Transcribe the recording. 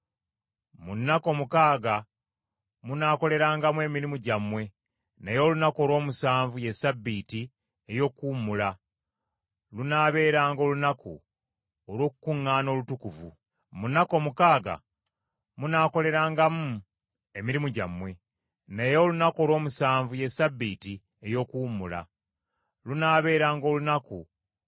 “Mu nnaku omukaaga munaakolerangamu emirimu gyammwe, naye olunaku olw’omusanvu ye Ssabbiiti ey’okuwummula; lunaabeeranga olunaku olw’okukuŋŋaana okutukuvu. Temulukolerangako mulimu n’akatono yonna gye munaabeeranga, kubanga ye Ssabbiiti ya Mukama Katonda.